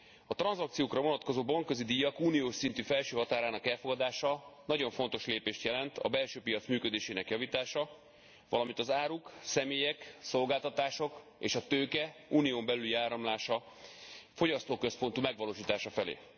A tranzakciókra vonatkozó bankközi díjak uniós szintű felső határának elfogadása nagyon fontos lépést jelent a belső piac működésének javítása, valamint az áruk, személyek, szolgáltatások és a tőke Unión belüli áramlása, fogyasztóközpontú megvalósítása felé.